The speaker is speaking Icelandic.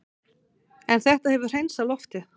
En þetta hefur hreinsað loftið